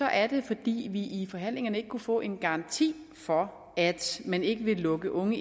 er det fordi vi i forhandlingerne ikke kunne få en garanti for at man ikke ville lukke unge